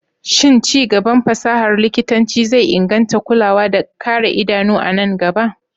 Shin ci gaban fasahar likitanci zai inganta kulawa da kare idanu a nan gaba?